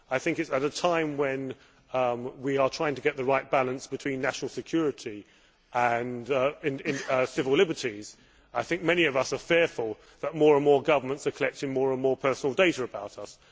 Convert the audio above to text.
I think, at a time when we are trying to get the right balance between national security and civil liberties, I think many of us are fearful that more and more governments are collecting more and more personal data about us.